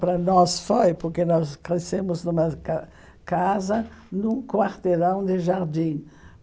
Para nós foi, porque nós crescemos numa ca casa num quarteirão de jardim.